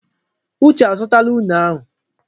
Uche azụtala unere ahụ.